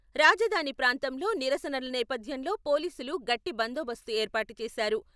రాజధాని ప్రాంతంలో నిరసనల నేపథ్యంలో పోలీసులు గట్టి బందోబస్తు ఏర్పాటు చేశారు.